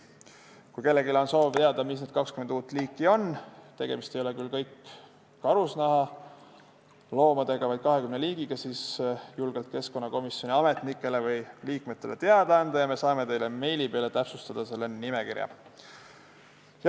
Kui kellelgi on soov teada, mis need 20 uut liiki on – need ei ole küll kõik karusloomad –, siis võib julgelt keskkonnakomisjoni ametnikele või liikmetele teada anda ja me saame selle nimekirja meiliga saata.